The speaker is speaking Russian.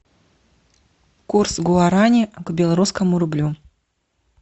курс гуарани к белорусскому рублю